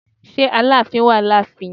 Ṣé Aláàfin wà ní ààfin?